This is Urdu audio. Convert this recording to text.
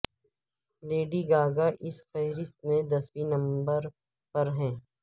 لیڈی گاگا اس فہرست میں دسویں نمبر پر ہیں